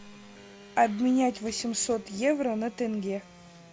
обменять восемьсот евро на тенге